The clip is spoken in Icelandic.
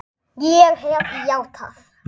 Ég hef játað.